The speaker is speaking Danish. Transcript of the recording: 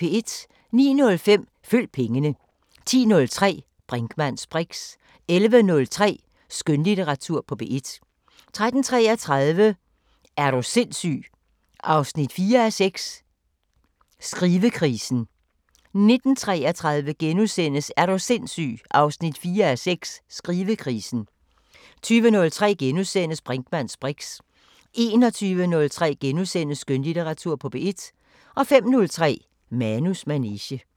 09:05: Følg pengene 10:03: Brinkmanns briks 11:03: Skønlitteratur på P1 13:33: Er du sindssyg 4:6 – Skrivekrisen 19:33: Er du sindssyg 4:6 – Skrivekrisen * 20:03: Brinkmanns briks * 21:03: Skønlitteratur på P1 * 05:03: Manus manege